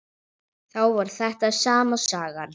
Þá var þetta sama sagan.